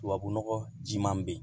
Tubabunɔgɔ jiman bɛ yen